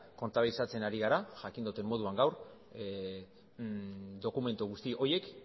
kontabilizatzen ari gara jakin dudan moduan gaur dokumentu guzti horiek